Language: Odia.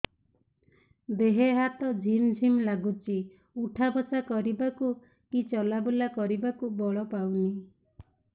ଦେହେ ହାତ ଝିମ୍ ଝିମ୍ ଲାଗୁଚି ଉଠା ବସା କରିବାକୁ କି ଚଲା ବୁଲା କରିବାକୁ ବଳ ପାଉନି